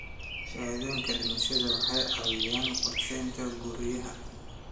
Shahaadooyinka dhimashada waxay caawiyaan qorsheynta guryaha.